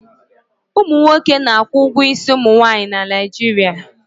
Ụmụ nwoke na-akwụ ụgwọ isi ụmụ nwaanyị na Naijiria.